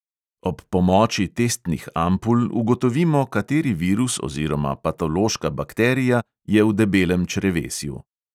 Ob pomoči testnih ampul ugotovimo, kateri virus oziroma patološka bakterija je v debelem črevesju.